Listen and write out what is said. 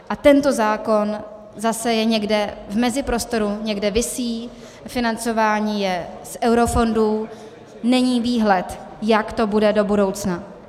A tento zákon je zase někde v meziprostoru, někde visí, financování je z eurofondů, není výhled, jak to bude do budoucna.